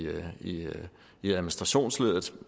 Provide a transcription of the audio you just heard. i administrationsleddet